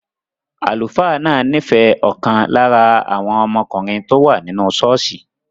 Àlùfáà náà nífẹ̀ẹ́ ọ̀kan lára àwọn ọmọkùnrin tó wà nínú ṣọ́ọ̀ṣì